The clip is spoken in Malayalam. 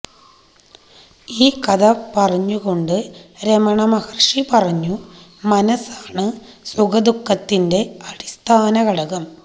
ഈ കഥ പറഞ്ഞുകൊണ്ട് രമണമഹർഷി പറഞ്ഞു മനസ്സാണ് സുഖ ദുഃഖത്തിന്റെ അടിസ്ഥാന ഘടകം